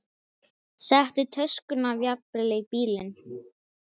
Settu töskuna jafnvel í bílinn.